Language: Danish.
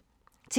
TV 2